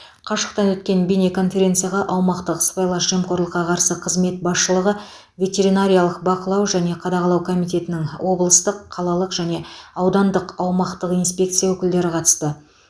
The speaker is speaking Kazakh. қашықтан өткен бейнеконференцияға аумақтық сыбайлас жемқорлыққа қарсы қызмет басшылығы ветеринариялық бақылау және қадағалау комитетінің облыстық қалалық және аудандық аумақтық инспекция өкілдері қатысты